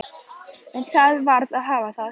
En það varð að hafa það.